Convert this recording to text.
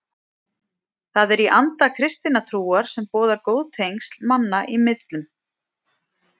Það er í anda kristinnar trúar sem boðar góð tengsl manna í millum.